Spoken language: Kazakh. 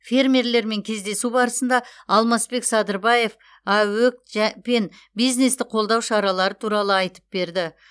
фермерлермен кездесу барысында алмасбек садырбаев аөк пен бизнесті қолдау шаралары туралы айтып берді